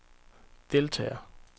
deltager